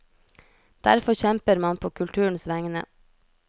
Derfor kjemper man på kulturens vegne.